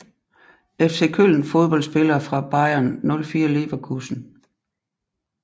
FC Köln Fodboldspillere fra Bayer 04 Leverkusen